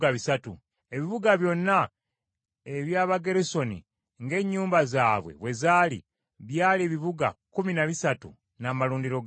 Ebibuga byonna eby’Abagerusoni ng’ennyumba zaabwe bwe zaali, byali ebibuga kkumi na bisatu n’amalundiro gaabyo.